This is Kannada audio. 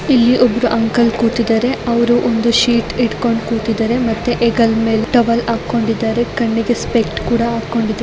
ಇಲ್ಲಿ ಒಬ್ಬರು ಅಂಕಲ್ ಕೂತಿದ್ದಾರೆ ಅವರು ಒಂದು ಶೀಟ್ ಇಟ್ಕೊಂಡ್ ಕೂತಿದ್ದಾರೆ ಮತ್ತೆ ಹೆಗಲ ಮೇಲೆ ಟವೆಲ್ ಹಾಕೊಂಡಿದ್ದರೆ ಕಣ್ಣಿಗೆ ಸ್ಪೆಕ್ಸ್ ಹಾಕೊಂಡಿದ್ದಾರೆ.